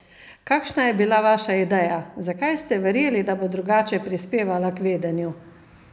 Kakšna je bila vaša ideja, zakaj ste verjeli, da bo drugače prispevala k vedenju?